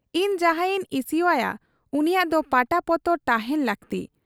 ᱤᱧ ᱡᱟᱦᱟᱸᱭᱤᱧ ᱤᱥᱤᱣᱟᱭᱟ ᱩᱱᱤᱭᱟᱜ ᱫᱚ ᱯᱟᱴᱟ ᱯᱚᱛᱚᱨ ᱛᱟᱦᱮᱸᱱ ᱞᱟᱹᱠᱛᱤ ᱾